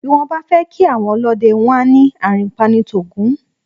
Bí wọ́n bá fẹ́ kí àwọn ọlọ́dẹ, wọ́n á ní "àrìnpa ń t'Ògún o".